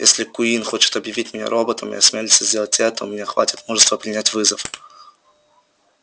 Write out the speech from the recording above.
если куинн хочет объявить меня роботом и осмелится сделать это у меня хватит мужества принять вызов